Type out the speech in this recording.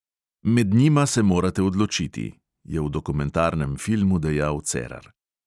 "Med njima se morate odločiti," je v dokumentarnem filmu dejal cerar.